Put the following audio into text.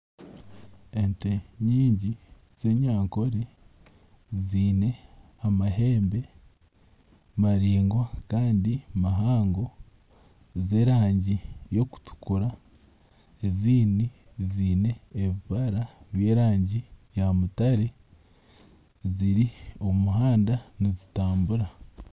Ente nyingi z'enyankore ziine amahambe maraingwa kandi mahango g'okutukura. Ezindi ziine ebibara by'erangi ya mutare, ziri omu muhanda nizitambura.